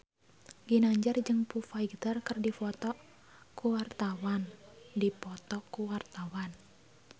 Ginanjar jeung Foo Fighter keur dipoto ku wartawan